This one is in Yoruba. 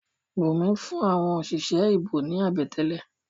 Bùnmí fún àwọn òṣìṣẹ́ ìbò ní àbẹ̀tẹ́lẹ̀.